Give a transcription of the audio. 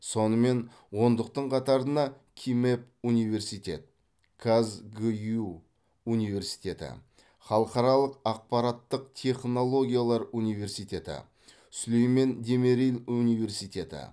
сонымен ондықтың қатарына кимэп университет казгюу университеті халықаралық ақпараттық технологиялар университеті сүлейман демирел университеті